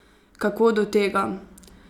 Kako do tega?